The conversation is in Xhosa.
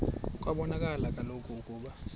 kwabonakala kaloku ukuba